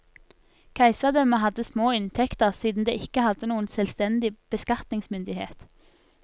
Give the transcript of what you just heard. Keiserdømmet hadde små inntekter siden det ikke hadde noen selvstendig beskatningsmyndighet.